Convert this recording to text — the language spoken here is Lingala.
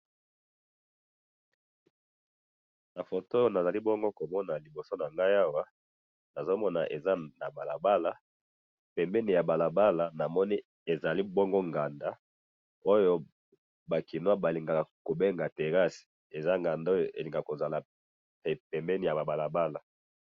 Na photo oyo nazali bongo komona liboso na ngai awa, nazo mona eza na balabala pembeni ya balabala namoni ezali bongo nganda oyo ba kinois balingaka ko benga terrasse, eza nganda oyo elingaka ko zala na pembeni ya ba balabala